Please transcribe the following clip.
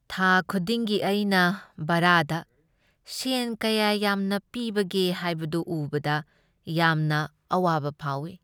ꯊꯥ ꯈꯨꯗꯤꯡꯒꯤ ꯑꯩꯅ ꯚꯥꯔꯥꯗ ꯁꯦꯟ ꯀꯌꯥ ꯌꯥꯝꯅ ꯄꯤꯕꯒꯦ ꯍꯥꯏꯕꯗꯨ ꯎꯕꯗ ꯌꯥꯝꯅ ꯑꯋꯥꯕ ꯐꯥꯎꯏ꯫